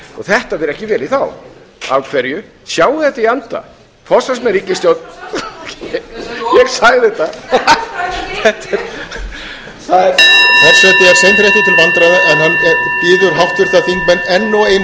þetta fer ekki vel í þá af hverju sjáið þetta í anda forsvarsmenn ríkisstjórnarinnar ég sagði þetta forseti er seinþreyttur til vandræða en hann biður háttvirta þingmenn enn og einu sinni að hafa hljóð í þingsalnum og gefa háttvirtum þingmanni sem hefur orðið næði til þess að tala sjáiði